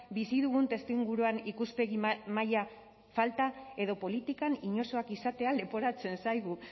bizi dugun testuinguruan ikuspegi maila falta edo politikan inozoak izatea leporatzen zaigu